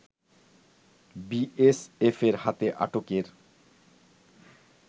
বিএসএফের হাতে আটকের